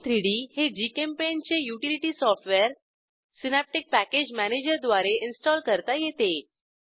gchem3डी हे जीचेम्पेंट चे utility software Synaptic package manager द्वारे इन्स्टॉल करता येते